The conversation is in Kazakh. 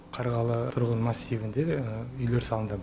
қарғалы тұрғын массивінде де үйлер салынған